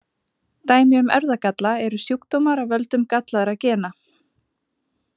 Dæmi um erfðagalla eru sjúkdómar af völdum gallaðra gena.